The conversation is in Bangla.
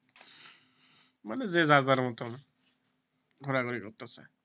মানে যে যার মতন ঘোরাঘুরি করতেসে,